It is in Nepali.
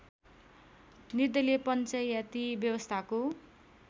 निर्दलीय पञ्चायती व्यवस्थाको